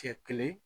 Cɛ kelen